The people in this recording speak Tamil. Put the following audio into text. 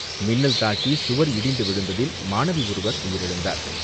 மின்னல் தாக்கி சுவர் இடிந்து விழுந்ததில் மாணவி ஒருவர் உயிரிழந்தார்.